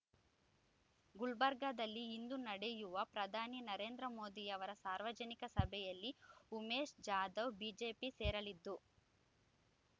ಗುಲ್ಬರ್ಗಾದಲ್ಲಿ ಇಂದು ನಡೆಯುವ ಪ್ರಧಾನಿ ನರೇಂದ್ರಮೋದಿಯವರ ಸಾರ್ವಜನಿಕ ಸಭೆಯಲ್ಲಿ ಉಮೇಶ್ ಜಾಧವ್ ಬಿಜೆಪಿ ಸೇರಲಿದ್ದು